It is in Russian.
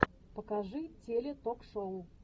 покажи теле ток шоу